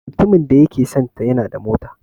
Mutumin da yake sonta yana da mota.